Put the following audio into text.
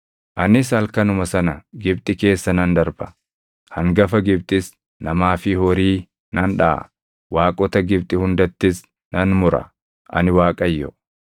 “Anis halkanuma sana Gibxi keessa nan darba; hangafa Gibxis namaa fi horii nan dhaʼa; waaqota Gibxi hundattis nan mura; ani Waaqayyo.